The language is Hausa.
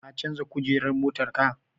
Ka canja kujerar motar?